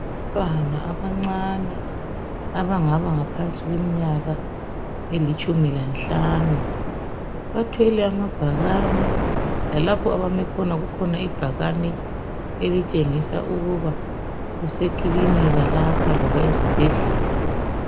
Abantwana abancane abangaba leminyaka engaphansi kwetshumi lanhlanu bathwele amabhakani. Lalapha bami khona kulebhakani elitshengisa ukuba kusekilinika loba esibhedlela.